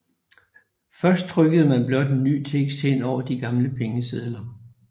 Først trykkede man blot ny tekst hen over de gamle pengesedler